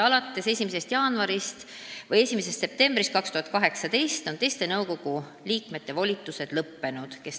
Alates 1. septembrist 2018 on teiste nõukogu liikmete volitused lõppenud.